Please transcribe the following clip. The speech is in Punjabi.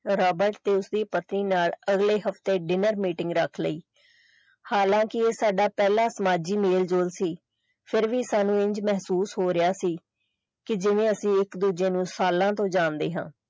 ਰਾਬਰਟ ਤੇ ਉਸਦੀ ਪਤਨੀ ਨਾਲ ਅਗਲੇ ਹਫਤੇ dinner meeting ਰੱਖ ਲਈ ਹਾਲਾਂਕਿ ਇਹ ਸਾਡਾ ਪਹਿਲਾ ਸਮਾਜੀ ਮੇਲਜੋਲ ਸੀ ਫਿਰ ਵੀ ਸਾਨੂੰ ਇੰਝ ਮਹਿਸੂਸ ਹੋ ਰਿਹਾ ਸੀ ਕਿ ਜਿਵੇਂ ਅਸੀਂ ਇਕ ਦੂਜੇ ਨੂੰ ਸਾਲਾਂ ਤੋਂ ਜਾਣਦੇ ਹਾਂ।